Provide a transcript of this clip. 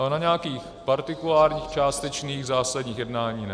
Ale na nějakých partikulárních, částečných zásadních jednáních ne.